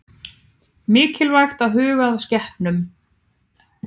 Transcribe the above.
Mikilvægt að huga að skepnunum